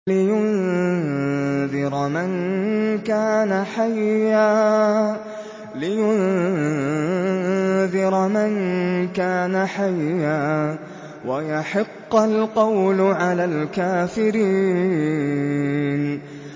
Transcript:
لِّيُنذِرَ مَن كَانَ حَيًّا وَيَحِقَّ الْقَوْلُ عَلَى الْكَافِرِينَ